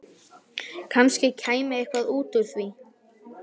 Kannski kæmi eitthvað út úr því.